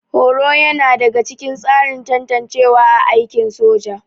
Horo yana daga cikin tsarin tantancewa a aikin soja